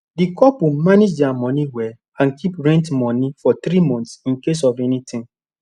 the couple manage their money well and keep rent money for 3 months in case of anything